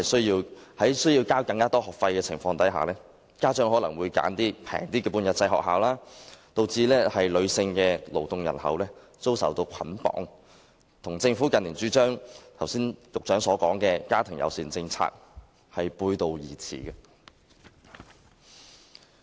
由於須繳交學費，家長可能會選擇較便宜的半日制幼稚園，以致女性勞動人口遭受束縛，與剛才局長所說政府近年主張的家庭友善政策背道而馳。